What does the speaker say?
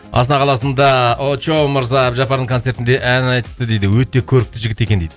астана қаласында очоу мырза әбдіжаппардың концертінде ән айтыпты дейді өте көрікті жігіт екен дейді